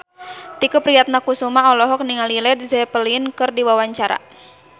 Tike Priatnakusuma olohok ningali Led Zeppelin keur diwawancara